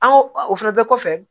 An ko o fana bɛɛ kɔfɛ